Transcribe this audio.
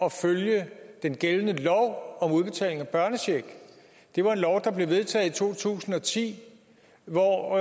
at følge den gældende lov om udbetaling af børnecheck det var en lov der blev vedtaget i to tusind og ti hvor